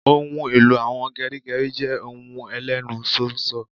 Ohun èlò àwọn geri geri je ohun Elenu ṣóńṣó